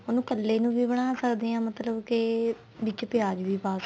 ਉਹਨੂੰ ਕੱਲੇ ਨੂੰ ਵੀ ਬਣਾ ਸਕਦੇ ਆ ਮਤਲਬ ਕੇ ਵਿੱਚ ਪਿਆਜ ਵੀ ਪਾ